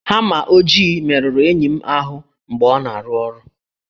Hama ojii merụrụ enyi m ahụ mgbe ọ na-arụ ọrụ